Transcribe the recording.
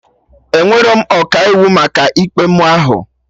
Enwerọ m Ọkaiwu maka ikpe mụ ahụ